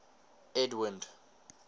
edwind